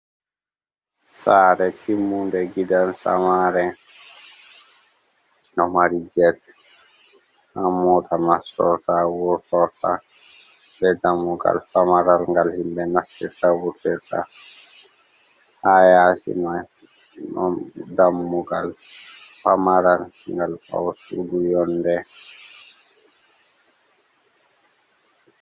Sare timmunde gidan samare ɗo mari get ɗon mota nastora wurtota be dammugal pamaral ngal himɓe nastirta wurtata ha yasi mai ɗon dammugal pamaral ngal wurturgo yonde.